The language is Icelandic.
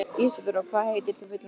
Ísadóra, hvað heitir þú fullu nafni?